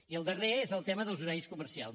i el darrer és el tema dels horaris comercials